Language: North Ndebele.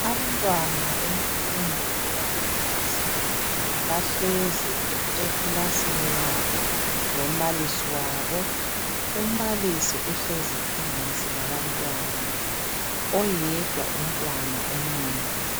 Abantwana bemfundo eyaphansi bahlezi ekilasini yabo lombalisi wabo. Umbalisi uhlezi phansi labantwana oyedwa umntwana umile.